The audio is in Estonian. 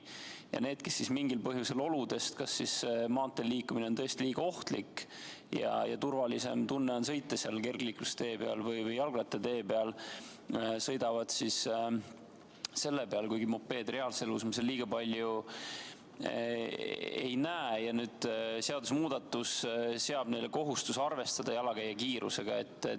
Ja need, kellel mingil põhjusel on maanteel liigelda liiga ohtlik ja turvalisem on sõita kergliiklustee või jalgrattatee peal, sõidavadki seal, kuigi mopeede reaalses elus seal liiga palju ei näe, ja seadusmuudatus seab neile kohustuse arvestada jalakäija kiirusega.